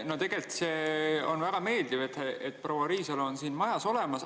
No tegelikult on see väga meeldiv, et proua Riisalo on siin majas olemas.